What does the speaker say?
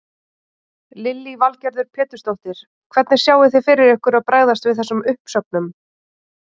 Lillý Valgerður Pétursdóttir: Hvernig sjáið þið fyrir ykkur að bregðast við þessum uppsögnum?